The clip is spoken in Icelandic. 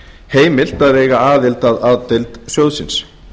heimilt að eiga aðild að a deild sjóðsins